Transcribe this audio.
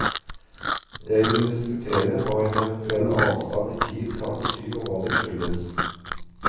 Jeg vil diskutere hva en eventuell avstand i tid kan bety og hva den skyldes.